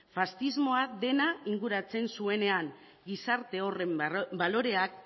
faxismoak dena inguratzen zuenean gizarte horren baloreak